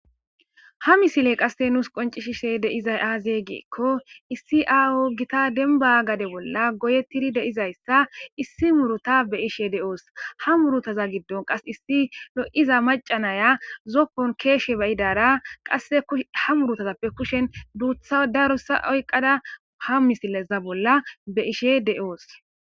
Ha misiley qasse nuus qoncishishe deizay aazyee geekko issi aawo gita denba gade bolla goyettidi deizayssa issi muruta be ishe deoos ha murutaza giddon qas issi lo'iza macanaya zoppon keeshe bayidara qasse ha murutazappe kushen duutha darusa oyqqada ha misileza bolla be ishe de'oos.